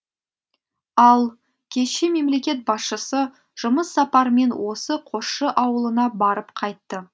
ал кеше мемлекет басшысы жұмыс сапармен осы қосшы ауылына барып қайтты